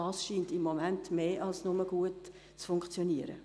Das scheint im Moment mehr als nur gut zu funktionieren.